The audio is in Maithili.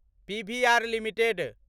PVR limited